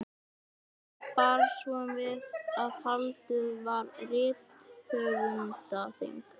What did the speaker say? Nú bar svo við að haldið var rithöfundaþing.